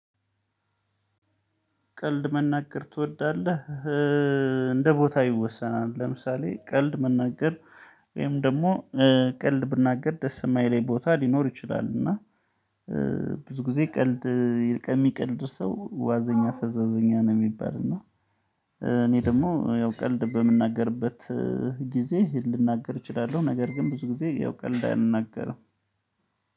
ቀልድ መናገር ትወዳለህ እንደ ቦታው ይወሰናል ለምሳሌ ቀልድ መናገር ወይም ደግሞ ቀልድ ብናገር ደስ የማይለኝ ቦታ ሊኖር ይችላል እና ብዙ ጊዜ ቀልድ ከሚቀልድ ሰው ዋዘኛ ፈዛዘኛ ነው የሚባል እና እኔ ደግሞ ያው ቀልድ በምናገርበት ጊዜ ልናገር እችላለሁ። ነገር ግን ብዙ ጊዜ ያው ቀልድ አልናገርም